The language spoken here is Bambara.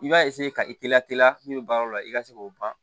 I b'a ka ite lateliya min be baaraw la i ka se k'o ban